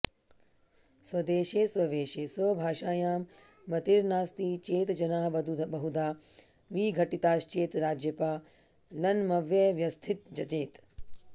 स्वदेशे स्ववेषे स्वभाषायां मतिर्नास्ति चेत् जनाः बहुधा विघटिताश्चेत् राज्यपालनमव्यवस्थितञ्चेत्